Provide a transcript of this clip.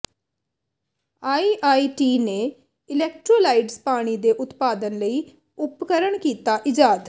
IIT ਨੇ electrolysed ਪਾਣੀ ਦੇ ਉਤਪਾਦਨ ਲਈ ਉਪਕਰਣ ਕੀਤਾ ਈਜਾਦ